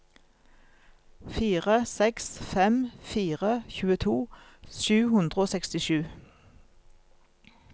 fire seks fem fire tjueto sju hundre og sekstisju